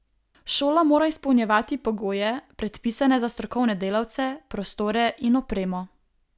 Šola mora izpolnjevati pogoje, predpisane za strokovne delavce, prostore in opremo.